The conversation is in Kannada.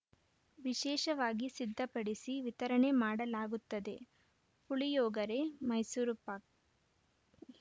ವಿಶೇಷವಾಗಿ ಸಿದ್ಧಪಡಿಸಿ ವಿತರಣೆ ಮಾಡಲಾಗುತ್ತದೆ ಪುಳಿಯೊಗರೆ ಮೈಸೂರು ಪಾಕ್‌